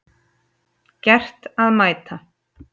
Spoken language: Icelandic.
Gert að mæta